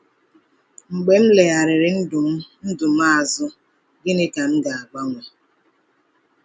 Mgbe m legharịrị ndụ m ndụ m azụ, gịnị ka m ga-agbanwe?